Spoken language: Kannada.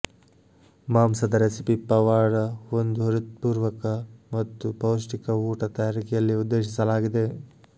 ಮಾಂಸದ ರೆಸಿಪಿ ಪವಾಡ ಒಂದು ಹೃತ್ಪೂರ್ವಕ ಮತ್ತು ಪೌಷ್ಟಿಕ ಊಟ ತಯಾರಿಕೆಯಲ್ಲಿ ಉದ್ದೇಶಿಸಲಾಗಿದೆ